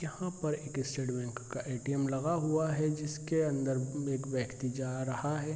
यहाँ पर एक स्टेट बैंक का ए.टी.एम. लगा हुआ है जिसके अन्दर में एक व्यक्ति जा रहा है।